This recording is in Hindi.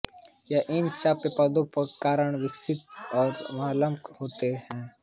इन चयापचय उत्पादों के कारण विषाक्तता और अम्लरक्तता होती है